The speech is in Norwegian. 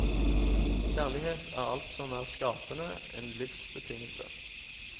Kjærlighet er alt som er skapende, en livsbetingelse.